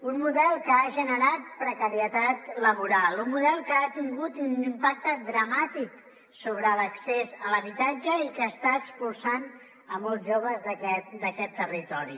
un model que ha generat precarietat laboral un model que ha tingut un impacte dramàtic sobre l’accés a l’habitatge i que està expulsant molts joves d’aquest territori